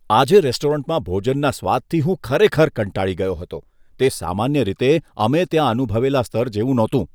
આજે રેસ્ટોરન્ટમાં ભોજનના સ્વાદથી હું ખરેખર કંટાળી ગયો હતો. તે સામાન્ય રીતે અમે ત્યાં અનુભવેલા સ્તર જેવું નહોતું.